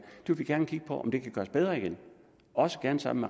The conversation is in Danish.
vil vi gerne kigge på om det kan gøres bedre også gerne sammen